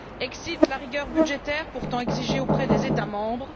Exit la rigueur budgétaire, pourtant exigée auprès des États membres.